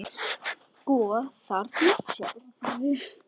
Sko, þarna sérðu.